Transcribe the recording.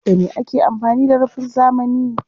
Da me ake amfani da rufin zamani?